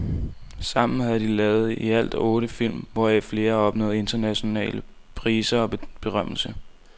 Sammen har de to lavet i alt otte film, hvoraf flere har opnået international priser og berømmelse.